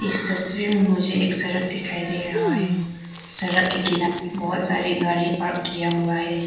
इस तस्वीर में मुझे एक सड़क दिखाई दे रहा है सड़क के किनारे बहुत सारे गाड़ी पार्क किया हुआ है।